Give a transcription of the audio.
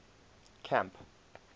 camp